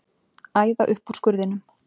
Æða upp úr skurðinum.